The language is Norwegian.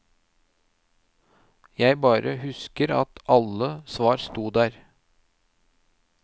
Jeg bare husker at alle svar stod der.